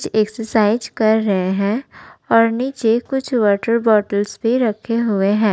Exercise कर रहे हैं और नीचे कुछ वॉटर बॉटल्स भी रखे हुए हैं।